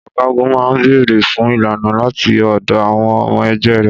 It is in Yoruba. Ọ̀gágun máa ń béèrè fún ìlànà láti ọ̀dọ̀ àwọn ọmọ ẹgbẹ́ rẹ̀.